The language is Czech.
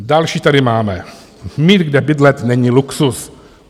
Další tady máme: Mít kde bydlet, není luxus.